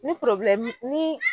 Ni ni.